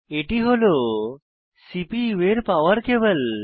এটি হল সিপিইউ এর পাওয়ার কেবল